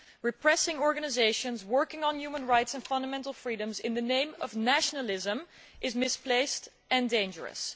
Repressing organisations working on human rights and fundamental freedoms in the name of nationalism is misplaced and dangerous.